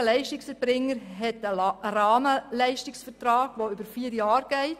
Jeder Leistungserbringer hat einen Rahmenleistungsvertrag, der vier Jahre umfasst.